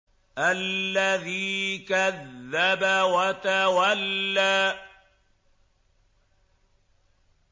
الَّذِي كَذَّبَ وَتَوَلَّىٰ